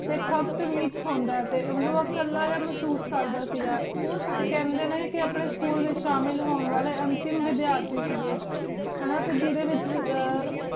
T ਸਬ ਡੀ ਵੇਚ ਹੁਦਾ ਸੀਗਾ ਟੀ ਕਲਾ ਜੇਯ ਮਹਸੂਸ ਕਰ ਦਾ ਸੇ ਗਾ ਹਨ ਜੀ ਟੀ ਖੰਡੀ ਨੀ ਅਪਨੀ school ਵੇਚ ਸ਼ਾਮਿਲ ਹੁਣ ਵਾਲੀ ਵੇਦ੍ਯਾਰਤੀ ਸੇ ਗੀ ਹਾਨਾ ਟੀ ਜੀਰੀ ਵੇਚ